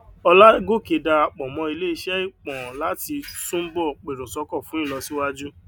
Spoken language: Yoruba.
olágòkè darapò mó iléesé ìpon láti túnbò pèròsókò fún ìlosíwájú